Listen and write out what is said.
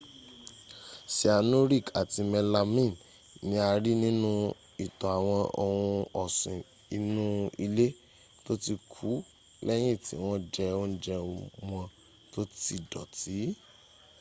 cyanuric àti melamine ni a rí nínu ìtọ̀ àwọn ohun ọ̀sìn inu ilé tó ti kú lẹ́yìn tí wọ́n jẹ òúnjẹ́ wọ́n tó ti dọ̀tí